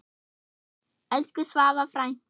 Elsku Svava frænka.